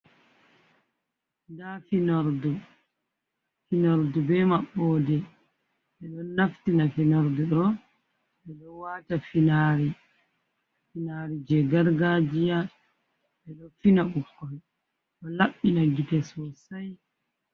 Nda finordu, finordu be maɓɓode, miɗo naftira finordu ɗo ɓeɗo wata finari je gargajiya ɓeɗo fina ɓikkoi o labbina gite sosai.